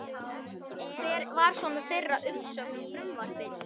Hver var svona þeirra umsögn um frumvarpið?